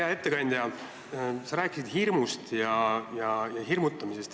Hea ettekandja, sa rääkisid hirmust ja hirmutamisest.